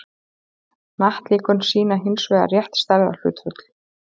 hnattlíkön sýna hins vegar rétt stærðarhlutföll